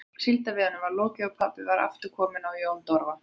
Síldveiðunum var lokið og pabbi var aftur kominn á Jón Dofra.